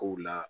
Kow la